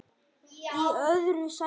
Í öðru sæti